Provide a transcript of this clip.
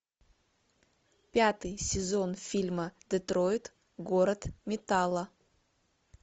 пятый сезон фильма детройт город металла